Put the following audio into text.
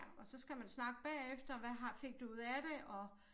Ja og så skal man snakke bagefter hvad har fik du ud af det og